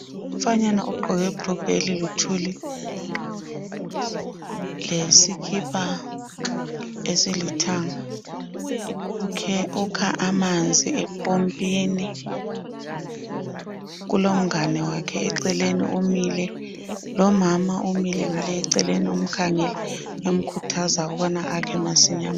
Umfanyana ogqoke ibhulugwe eliluthuli lesikipa esilithanga, ukha amanzi empompini kulomngane wakhe eceleni umile, lomama umile ngale eceleni umkhangele emkhuthaza ukubana akhe masinya.